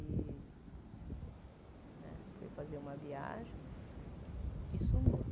Ele né foi fazer uma viagem e sumiu.